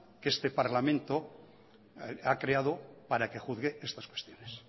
que este parlamento ha creado para que juzgue estas cuestiones